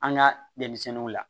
An ka denmisɛnninw la